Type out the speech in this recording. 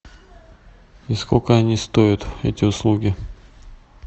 и сколько они стоят эти услуги